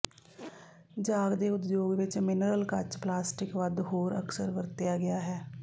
ਜਾਗਦੇ ਉਦਯੋਗ ਵਿੱਚ ਮਿਨਰਲ ਕੱਚ ਪਲਾਸਟਿਕ ਵੱਧ ਹੋਰ ਅਕਸਰ ਵਰਤਿਆ ਗਿਆ ਹੈ